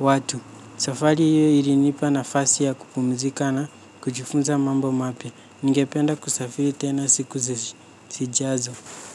watu. Safari hiyo ilinipa nafasi ya kupumzika na kujifunza mambo mapya. Ningependa kusafiri tena siku zijazo.